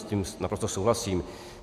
S tím naprosto souhlasím.